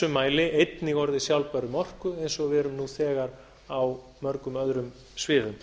mæli einnig orðið sjálfbær um orku eins og við erum nú þegar á mörgum öðrum sviðum